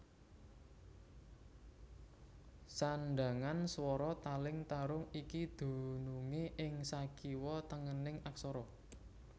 Sandhangan swara taling tarung iki dunungé ing sakiwa tengening aksara